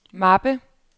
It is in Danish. mappe